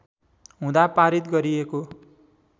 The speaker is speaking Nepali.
हुँदा पारित गरिएको